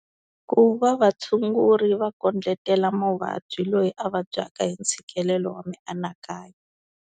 Ku va vatshunguri va kondletela muvabyi loyi a vabyaka hi ntshikelelo wa mianakanyo.